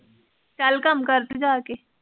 ਚਲ ਕੰਮ ਕਰ ਤੂੰ ਜਾ ਕੇ